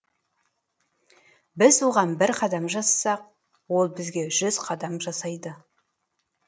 біз оған бір қадам жасасақ ол бізге жүз қадам жасайды